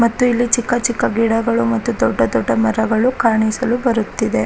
ಮತ್ತು ಇಲ್ಲಿ ಚಿಕ್ಕ ಚಿಕ್ಕ ಗಿಡಗಳು ಮತ್ತು ದೊಡ್ಡ ದೊಡ್ಡ ಮರಗಳು ಕಾಣಿಸಲು ಬರುತ್ತಿದೆ.